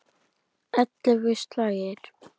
Ellefu slagir.